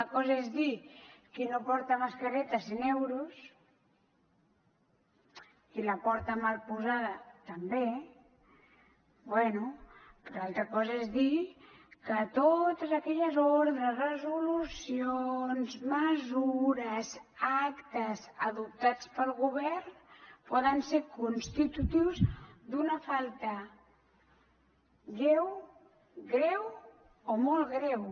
una cosa és dir qui no porta mascareta cent euros qui la porta mal posada també bé però altra cosa és dir que totes aquelles ordres resolucions mesures actes adoptats pel govern poden ser constitutius d’una falta lleu greu o molt greu